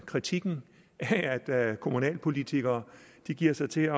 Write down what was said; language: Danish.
kritikken af at kommunalpolitikere giver sig til